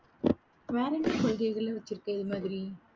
வேற என்ன கொள்கைகள்லாம் வெச்சுருக்க இது மாதிரி?